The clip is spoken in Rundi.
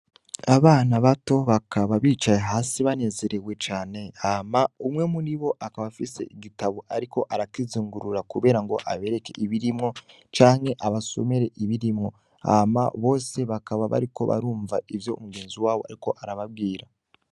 Abana bato bakaba bicaye hasi banezerewe cane, hama umwe muribo akaba afise igitabo ariko arakizingurura kubera ngo abereke ibirimwo, canke abasomere ibirimwo. Hama bose bakaba bariko barumva ivyo umugenzi wabo ariko arababwira.